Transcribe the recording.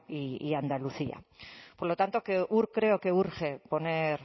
y andalucía por lo tanto creo que urge poner